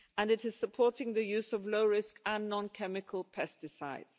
And it is supporting the use of low risk and non chemical pesticides.